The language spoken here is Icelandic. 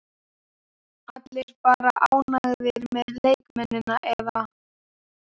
Allir bara ánægðir með leikmennina eða?